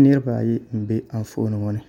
Niraba ayi n bɛ Anfooni ŋo ni